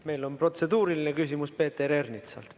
Meil on protseduuriline küsimus Peeter Ernitsalt.